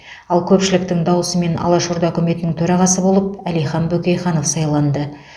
ал көпшіліктің дауысымен алаш орда үкіметінің төрағасы болып әлихан бөкейханов сайланды